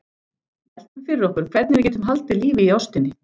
Veltum fyrir okkur hvernig við getum haldið lífi í ástinni.